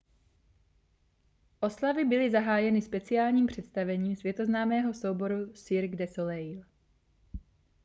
oslavy byly zahájeny speciálním představením světoznámého souboru cirque du soleil